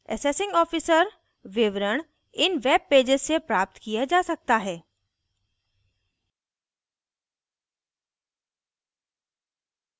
assessing officer विवरण इन webpages से प्राप्त किया जा सकता है